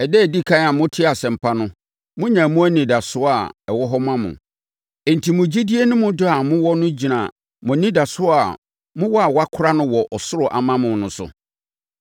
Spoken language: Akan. Ɛda a ɛdi ɛkan a motee Asɛmpa no, monyaa mu anidasoɔ a ɛwɔ hɔ ma mo. Enti, mo gyidie ne mo dɔ a mowɔ no gyina mo anidasoɔ a mowɔ a wɔakora no wɔ ɔsoro ama mo no so.